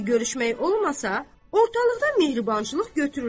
Çünki görüşmək olmasa, ortalıqdan mehribançılıq götürülər.